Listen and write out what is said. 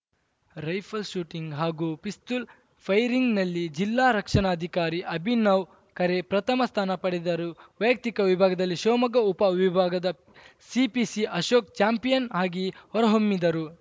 rifle shooting ಹಾಗೂ ಪಿಸ್ತೂಲ್‌ ಫೈರಿಂಗ್‌ನಲ್ಲಿ ಜಿಲ್ಲಾ ರಕ್ಷಣಾಧಿಕಾರಿ ಅಭಿನವ್‌ ಖರೆ ಪ್ರಥಮ ಸ್ಥಾನ ಪಡೆದರು ವೈಯಕ್ತಿಕ ವಿಭಾಗದಲ್ಲಿ ಶಿವಮೊಗ್ಗ ಉಪ ವಿಭಾಗದ ಸಿಪಿಸಿ ಅಶೋಕ್‌ ಚಾಂಪಿಯನ್‌ ಆಗಿ ಹೊರಹೊಮ್ಮಿದರು